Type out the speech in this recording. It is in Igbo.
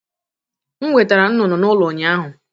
M wetaara m ntunu n'ụlọ ụnyahụ.